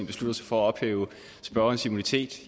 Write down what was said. beslutter sig for at ophæve spørgerens immunitet